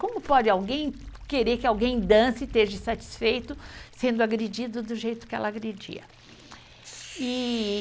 Como pode alguém querer que alguém dance e esteja insatisfeito sendo agredido do jeito que ela agredia? ee